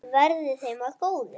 Verði þeim að góðu.